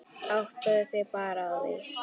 Áttaðu þig bara á því.